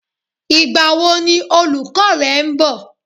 Ìgbà wo ni olùkọ́ rẹ ń bọ̀?